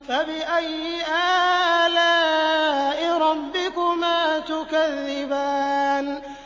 فَبِأَيِّ آلَاءِ رَبِّكُمَا تُكَذِّبَانِ